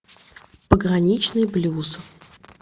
пограничный блюз